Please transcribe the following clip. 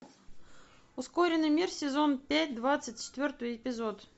ускоренный мир сезон пять двадцать четвертый эпизод